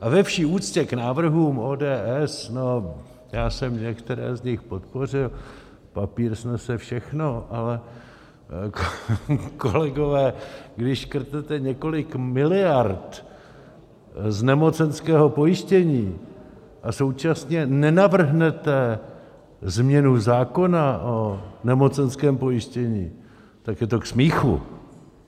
A ve vší úctě k návrhům ODS, no, já jsem některé z nich podpořil, papír snese všechno, ale kolegové, když škrtnete několik miliard z nemocenského pojištění a současně nenavrhnete změnu zákona o nemocenském pojištění, tak je to k smíchu!